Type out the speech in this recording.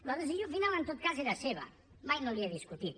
la decisió final en tot cas era seva mai no l’hi he discutit